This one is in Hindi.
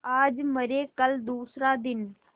आज मरे कल दूसरा दिन